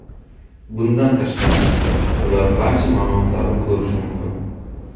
Bundan tashqari, ular barcha ma’lumotlarni ko‘rishi mumkin.